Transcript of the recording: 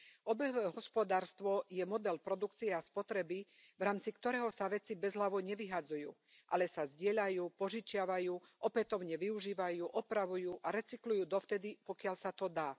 Obehové hospodárstvo je model produkcie a spotreby, v rámci ktorého sa veci bezhlavo nevyhadzujú, ale sa zdieľajú, požičiavajú, opätovne využívajú, opravujú a recyklujú dovtedy, pokiaľ sa to dá.